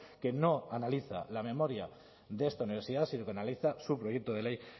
que no analiza la memoria de esta universidad sino que analiza su proyecto de ley